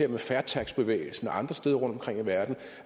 med fair tax bevægelsen og andre steder rundtomkring i verden